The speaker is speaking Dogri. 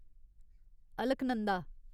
अलकनंदा